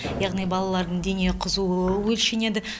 яғни балалардың дене қызуы өлшенеді